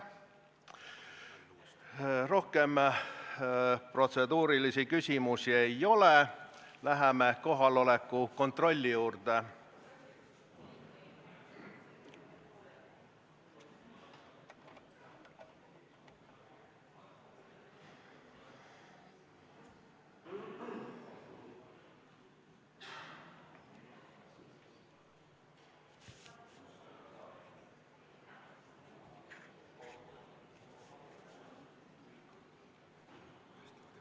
Rohkem protseduurilisi küsimusi ei ole, läheme kohaloleku kontrolli juurde.